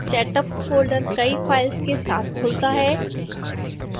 setup folder कई files के साथ खुलता है